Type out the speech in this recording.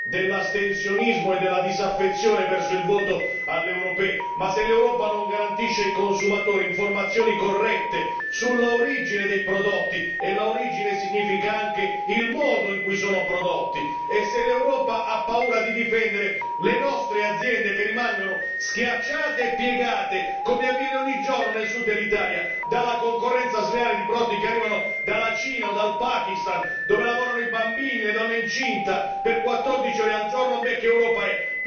dell'astensionismo e della disaffezione verso il voto alle elezioni europee, ma se l'Europa non garantisce ai consumatori informazioni corrette sull'origine dei prodotti, il che implica anche il modo in cui sono prodotti, se l'Europa ha paura di difendere le nostre aziende schiacciate e piegate, come avviene ogni giorno nel Sud dell'Italia dalla concorrenza sleale di prodotti provenienti dalla Cina o dal Pakistan, dove lavorano bambini e donne incinte per 14 ore al giorno, che Europa è?